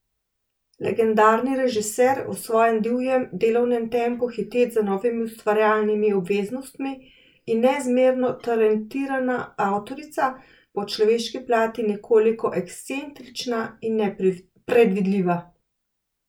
Legendarni režiser, v svojem divjem delovnem tempu hiteč za novimi ustvarjalnimi obveznostmi, in neizmerno talentirana avtorica, po človeški plati nekoliko ekscentrična in nepredvidljiva.